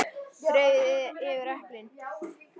Dreifið yfir eplin.